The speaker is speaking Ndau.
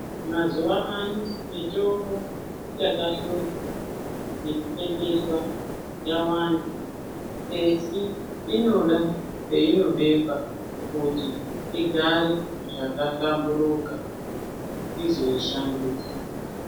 Mazuva ano mitombo yakahluzwa nekupepetwa yawanda esi inoda painobekwa kuti igare zvakahlamburika izoshandiswa.